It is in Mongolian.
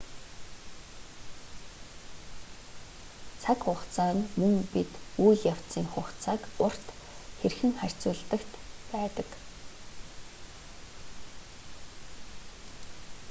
цаг хугацаа нь мөн бид үйл явдлын хугацааг урт хэрхэн харьцуулдагт байдаг